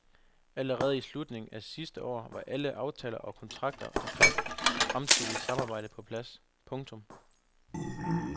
Allerede i slutningen af sidste år var alle aftaler og kontrakter omkring et fremtidigt samarbejde på plads. punktum